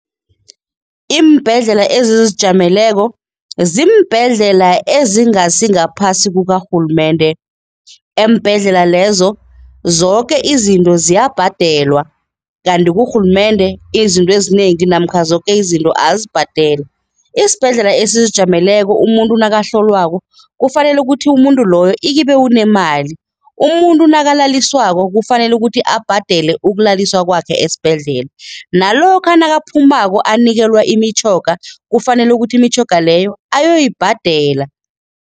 Iimbhedlela ezizijameleko ziimbhedlela ezingasingaphasi kukarhulumende. Eembhedlela lezo, zoke izinto ziyabhadelwa kanti kurhulumende izinto ezinengi namkha zoke izinto azibhadelwa. Isibhedlela esizijameleko, umuntu nakahlolwako, kufanele ukuthi umuntu loyo ikibe unemali. Umuntu nakalaliswako kufanele ukuthi abhadele ukulaliswa kwakhe esibhedlela, nalokha nakaphumako anikelwa imitjhoga, kufanele ukuthi imitjhoga leyo ayoyibhadela.